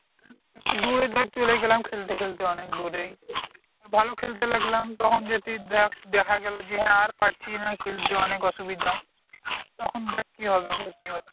একটু দূরে ধর চলে গেলাম খেলতে খেলতে অনেক দূরেই, ভালো খেলতে লাগলাম তখন যদি দেখ দেখাগেলো যে হ্যাঁ আর পারছি না খেলতে অনেক অসুবিধা, তখন দেখ কি হবে বুঝতে পারছিস?